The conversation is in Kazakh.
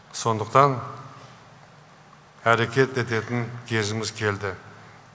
сондықтан әрекет ететін кезіміз келді